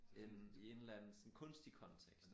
End i en eller anden sådan kunstig kontekst